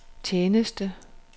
tjeneste